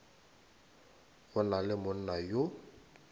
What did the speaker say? go na le monna yo